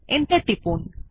enter টিপুন